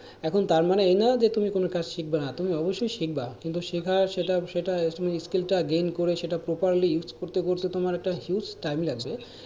এখন তার মানে এই নোই যে তুমি কোন কাজ শিখবে না তুমি অবশ্যই শিখবা কিন্তু শেখার সেটা skill টা gain করে সেটা properly use করতে করতে তোমার একটা huge time লাগবে,